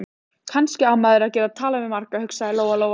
Kannski á maður að geta talað við marga, hugsaði Lóa-Lóa.